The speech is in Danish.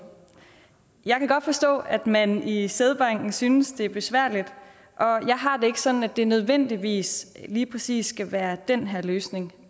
jeg kan godt forstå at man i sædbanken synes det er besværligt og jeg har det ikke sådan at det nødvendigvis lige præcis skal være den her løsning